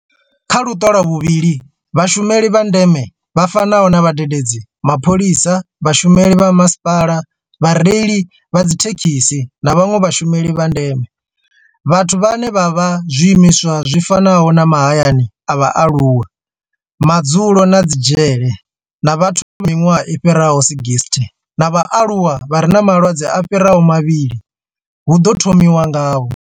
Kha luṱa lwa vhuvhili, vhashumeli vha ndeme vha fanaho na vhadededzi, mapholisa, vhashumeli vha masipala, vhareili vha dzithekhisi na vhanwe vhashumeli vha ndeme. Vhathu vhane vha vha kha zwiimiswa zwi fanaho na mahayani a vhaaluwa, madzulo na dzi dzhele na vhathu vha miṅwaha i fhiraho 60 na vhaaluwa vha re na malwadze a fhiraho mavhili hu ḓo thomiwa ngavho.